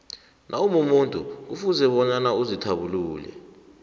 nawumumuntu kufuze bonyana uzithabulule